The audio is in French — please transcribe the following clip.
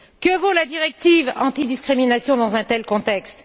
Que vaut la directive antidiscrimination dans un tel contexte?